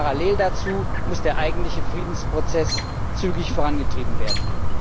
Parallel dazu muss der eigentliche Friedensprozess zügig vorangetrieben werden.